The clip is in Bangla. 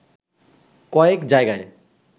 কয়েক জায়গায়